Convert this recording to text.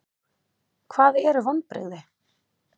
Hvað eru vonbrigði?